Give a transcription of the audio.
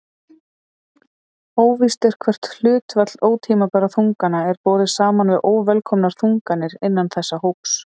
Óvíst er hvert hlutfall ótímabærra þungana er borið saman við óvelkomnar þunganir innan þessa hóps.